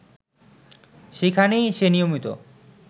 সেইখানেই সে নিয়মিত